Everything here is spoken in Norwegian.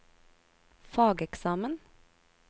fageksamen